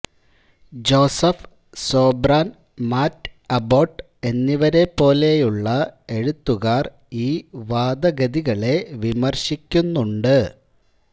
Joseph Sobran Matt Abbott എന്നിവരെപ്പോലെയുള്ള എഴുത്തുകാർ ഈ വാദഗതികളെ വിമർശിക്കുന്നുണ്ട്